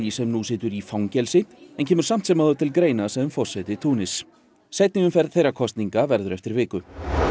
sem nú situr í fangelsi en kemur samt sem áður til greina sem forseti Túnis seinni umferð þeirra kosninga verður eftir viku